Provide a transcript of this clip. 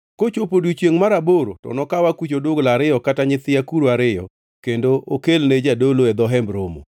Kochopo odiechiengʼ mar aboro to okaw akuch odugla ariyo kata nyithi akuru ariyo, kendo okelne jadolo e dho Hemb Romo.